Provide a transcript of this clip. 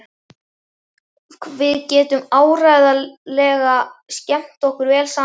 Við getum áreiðanlega skemmt okkur vel saman.